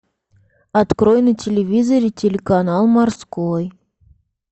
открой на телевизоре телеканал морской